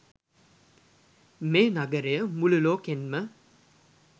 මේ නගරය මුලු ලෝකෙන්ම